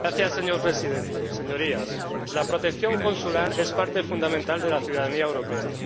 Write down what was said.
Señor Presidente, señorías, la protección consular es parte fundamental de la ciudadanía europea.